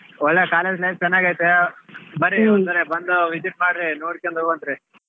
ಒಳ್ಳೆ college life ಚೆನ್ನಾಗೈತೆ ಬರ್ರಿ ಸಾರಿ ಬಂದು visit ಮಾಡ್ರಿ ನೋಡಿಕೊಂಡು ಹೋಗ್ವಂತ್ರಿ.